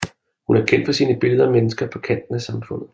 Hun er kendt for sine billeder af mennesker på kanten af samfundet